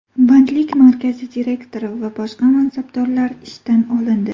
Bandlik markazi direktori va boshqa mansabdorlar ishdan olindi.